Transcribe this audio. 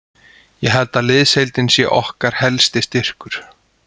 Ég held að liðsheildin sé okkar helsti styrkur.